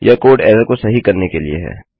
यह कोड एररको सही करने के लिए है